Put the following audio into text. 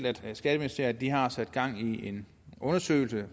at skatteministeriet har sat gang i en undersøgelse